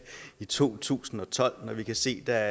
i to tusind og tolv og når vi kan se at der